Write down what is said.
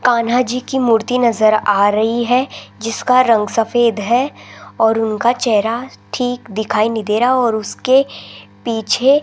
कान्हा जी की मूर्ति नजर आ रही है जिसका रंग सफेद है और उनका चेहरा ठीक दिखाई नहीं दे रहा और उसके पीछे --